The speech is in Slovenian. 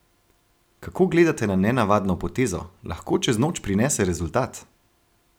Kako gledate na nenavadno potezo, lahko čez noč prinese rezultat?